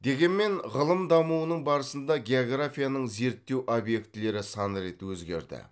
дегенмен ғылым дамуының барысында географияның зерттеу обьектілері сан рет өзгерді